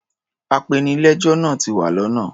Apenilẹ́jọ́ náa ti wa lọ́nà.